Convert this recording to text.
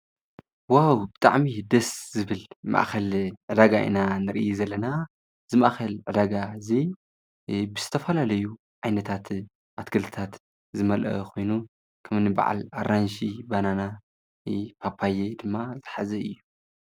ዋው ብጥዕሚ ደስ ዝብል ማእኸል ረጋ እና ንር ዘለና ዝማእኸል ረጋ እዙይ ብስተፈላለዩ ዓይነታት ኣትገልታት ዝመልአ ኾይኑ ከምኒበዓል ኣራንሽ ባናና ጳጳየ ድማ ዘሕዚ እዩ።